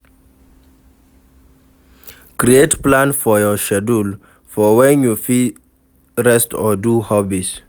Create plan for your schedule for when you go fit rest or do hobbies